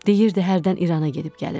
Deyirdi hərdən İrana gedib gəlir.